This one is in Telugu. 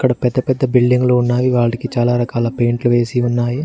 పెద్ద పెద్ద బిల్డింగ్ లో ఉన్నవి వాడికి చాలా రకాల పెయింట్లు వేసి ఉన్నాయి.